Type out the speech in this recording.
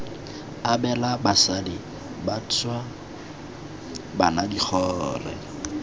abela basadi bašwa bana digole